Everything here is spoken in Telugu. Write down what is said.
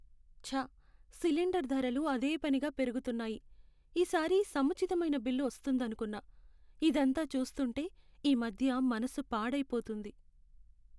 ఛ! సిలిండర్ ధరలు అదే పనిగా పెరుగుతున్నాయి. ఈసారి సముచితమైన బిల్లు వస్తుందనుకున్నా. ఇదంతా చూస్తుంటే ఈమధ్య మనసు పాడైపోతోంది.